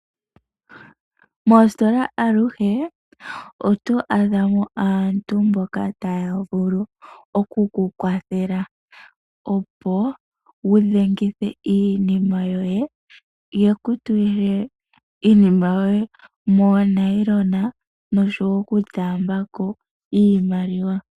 Moositola omu na aaniilonga mboka, ta ya vulu oku ku kwathela opo wu lande iilandomwa yoye. Oha ya tambula iimaliwa, ee ta ya longele iinima yoye moonayilona.